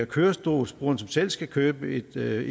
kørestolsbruger som selv skal købe et